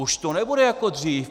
Už to nebude jako dřív.